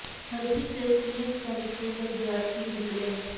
ਹਰੀ Singh Sewak senior secondary school ਦਾ ਵਿਦਿਆਰਥੀ ਹੀ ਨਿਕਲਿਆ ਹੈ